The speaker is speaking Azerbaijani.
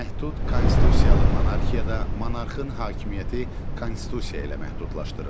Məhdud konstitusiyalı monarxiyada monarxın hakimiyyəti konstitusiya ilə məhdudlaşdırılır.